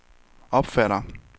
opfatter